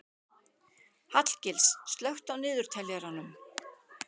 Hallgils, slökktu á niðurteljaranum.